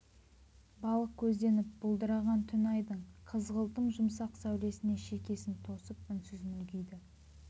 балық көзденіп бұлдыраған түн айдың қызғылтым жұмсақ сәулесіне шекесін тосып үнсіз мүлгиді